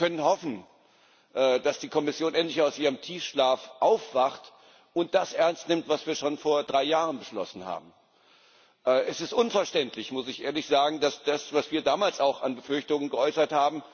Wir können hoffen, dass die Kommission endlich aus ihrem Tiefschlaf aufwacht und das ernst nimmt, was wir schon vor drei Jahren beschlossen haben. Es ist unverständlich muss ich ehrlich sagen denn wir haben schon damals dieselben Befürchtungen geäußert.